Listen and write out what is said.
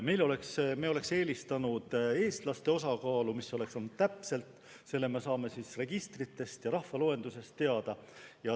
Me oleksime eelistanud eestlaste osakaalu, mis olnuks täpsem, kuna selle me saame registritest ja rahvaloenduse põhjal teada.